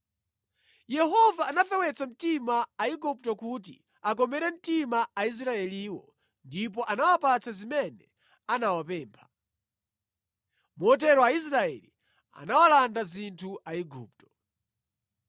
Yehova anafewetsa mtima Aigupto kuti akomere mtima Aisraeliwo ndipo anawapatsa zimene anawapempha. Motero Aisraeli anawalanda zinthu Aigupto.